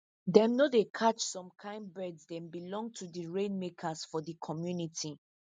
them no dey catch some kin birds them belong to di rainmakers for the community